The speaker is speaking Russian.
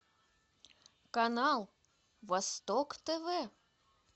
канал восток тв